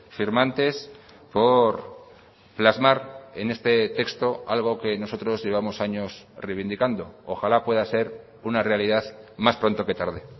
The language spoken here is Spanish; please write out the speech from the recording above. firmantes por plasmar en este texto algo que nosotros llevamos años reivindicando ojala pueda ser una realidad más pronto que tarde